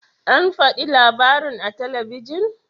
An fadi labarin a talabijin?